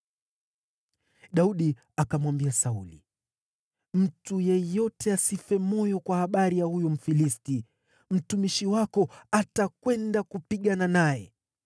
Daudi akamwambia Sauli, “Mtu yeyote asife moyo kwa habari ya huyu Mfilisti; mtumishi wako atakwenda kupigana naye.”